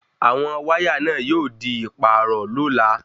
Àwọn wáyà náà yóò di ìpààrọ̀ lola